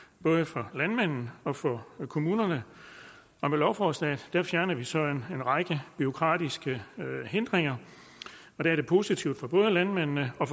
både for landmanden og for kommunerne med lovforslaget fjerner vi så en række bureaukratiske hindringer og det er positivt for både landmændene og